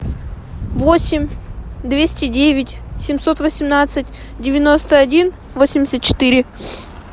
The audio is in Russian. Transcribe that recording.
восемь двести девять семьсот восемнадцать девяносто один восемьдесят четыре